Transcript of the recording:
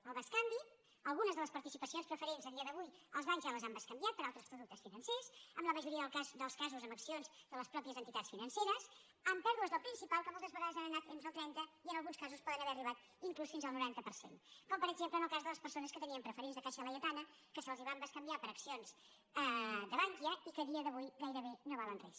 en el bescanvi algunes de les participacions preferents a dia d’avui els bancs ja les han bescanviat per altres productes financers en la majoria dels casos per accions de les mateixes entitats financeres amb pèrdues del principal que moltes vegades han anat des del trenta i en alguns casos poden haver arribat inclús fins al noranta per cent com per exemple en el cas de les persones que tenien preferents de caixa laietana que se’ls van bescanviar per accions de bankia i que a dia d’avui gairebé no valen res